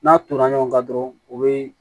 N'a turula ɲɔgɔn kan dɔrɔn o bɛ